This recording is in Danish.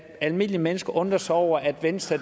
almindelige mennesker undrer sig over at venstre